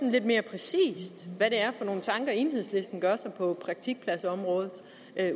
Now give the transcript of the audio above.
lidt mere præcis hvad det er for nogen tanker enhedslisten gør sig på praktikpladsområdet